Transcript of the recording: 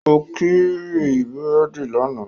Ó kiri búrèdì lánàá